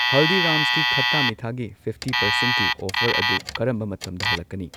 ꯍꯜꯗꯤꯔꯥꯝꯁꯀꯤ ꯈꯥꯇꯥ ꯃꯤꯊꯥꯒꯤ ꯐꯤꯚꯇꯤ ꯄꯔꯁꯦꯟꯠꯀꯤ ꯑꯣꯐꯔ ꯑꯗꯨ ꯀꯔꯝꯕ ꯃꯇꯝꯗ ꯍꯜꯂꯛꯀꯅꯤ